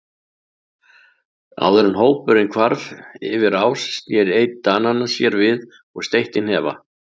Áður en hópurinn hvarf yfir ás sneri einn Dananna sér við og steytti hnefa.